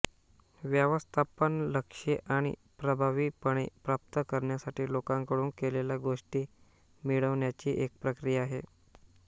व्यवस्थापन लक्ष्ये आणि प्रभावीपणे प्राप्त करण्यासाठी लोकांकडून केलेल्या गोष्टी मिळवण्याची एक प्रक्रिया आहे